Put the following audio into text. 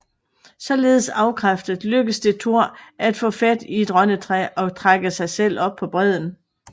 Således afkræftet lykkedes det Thor at få fat i et rønnetræ og trække sig selv op på bredden